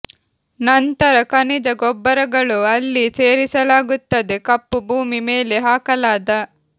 ನಂತರ ಖನಿಜ ಗೊಬ್ಬರಗಳು ಅಲ್ಲಿ ಸೇರಿಸಲಾಗುತ್ತದೆ ಕಪ್ಪು ಭೂಮಿ ಮೇಲೆ ಹಾಕಲಾದ